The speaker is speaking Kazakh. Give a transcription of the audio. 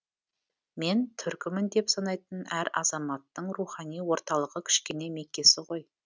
мен түркімін деп санайтын әр азаматтың рухани орталығы кішкене меккесі ғой